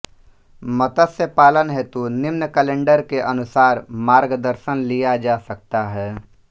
मत्स्य पालन हेतु निम्न कैलेण्डर के अनुसार मार्गदर्शन लिया जा सकता है